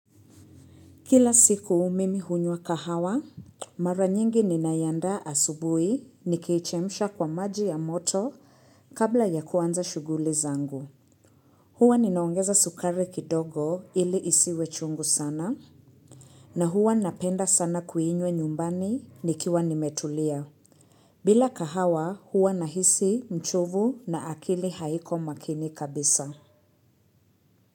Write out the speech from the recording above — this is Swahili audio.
Kila siku mimi hunywa kahawa, mara nyingi ninayaandaa asubui, nikiechemsha kwa maji ya moto kabla ya kuanza shuguli zangu. Hua ninaongeza sukari kidogo ili isiwe chungu sana, na hua napenda sana kuiinywa nyumbani nikiwa nimetulia. Bila kahawa, hua nahisi mchovu na akili haiko makini kabisa.